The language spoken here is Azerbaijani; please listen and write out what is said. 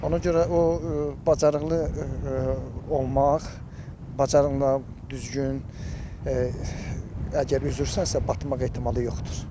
Ona görə o bacarıqlı olmaq, bacarıqlı düzgün əgər üzürsənsə batmaq ehtimalı yoxdur.